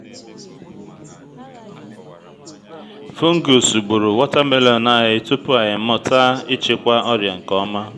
fungus gburu watermelon anyi tupu anyị mụta ịchịkwa ọrịa nke ọma